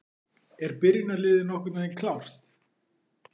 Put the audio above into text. Eru byrjunarliðið nokkurn veginn klárt?